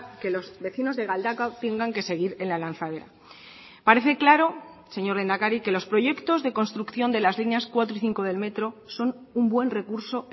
que los vecinos de galdakao tengan que seguir en la lanzadera parece claro señor lehendakari que los proyectos de construcción de las líneas cuatro y cinco del metro son un buen recurso